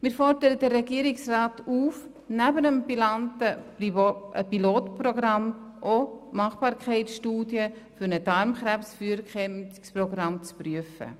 Wir fordern den Regierungsrat auf, neben dem benannten Pilotprogramm auch die Machbarkeitsstudie für ein Darmkrebsfrüherkennungsprogramm zu prüfen.